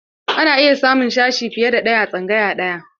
Ana iya samun sashe fiye da ɗaya a tsangaya ɗaya.